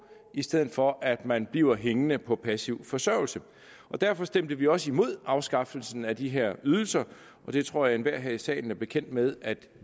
i stedet for at man bliver hængende på passiv forsørgelse derfor stemte vi også imod afskaffelsen af de her ydelser og det tror jeg enhver her i salen er bekendt med